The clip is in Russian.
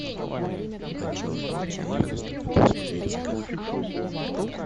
аниме девяностых годов смотреть онлайн